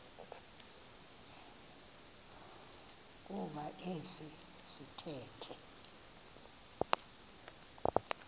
kuba esi sithethe